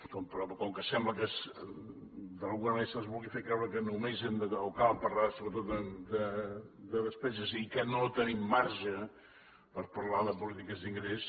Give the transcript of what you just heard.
però com que sembla que d’alguna manera se’ns vulgui fer creure que només cal parlar sobretot de despeses i que no tenim marge per parlar de polítiques d’ingrés